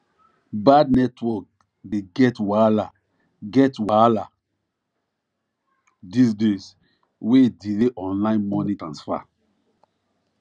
bank network dey get wahala get wahala these days wey delay online money transfer